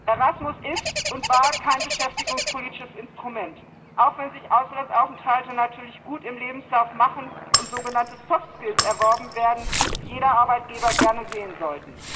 Erasmus ist und war kein beschäftigungspolitisches Instrument, auch wenn sich Auslandsaufenthalte natürlich gut im Lebenslauf machen und sogenannte soft skills erworben werden, die jeder Arbeitgeber gerne sehen will.